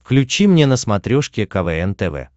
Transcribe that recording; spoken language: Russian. включи мне на смотрешке квн тв